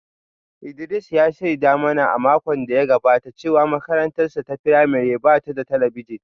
Idris ya shaida mana a makon da ya gabata cewa makarantarsa ​​ta firamare ba ta da talabijin